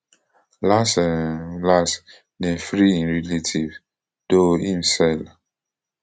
las um las dem free im relatives though im sell